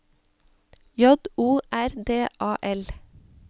J O R D A L